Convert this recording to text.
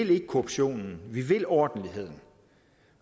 vil korruption vi vil ordentlighed